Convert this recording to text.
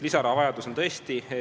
Lisaraha vajadus on tõesti.